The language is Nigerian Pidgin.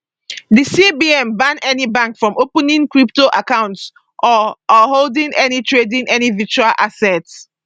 di cbn ban any bank from opening crypto accounts or or holding or trading any virtual asset